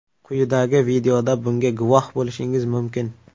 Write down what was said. Quyidagi videoda bunga guvoh bo‘lishingiz mumkin.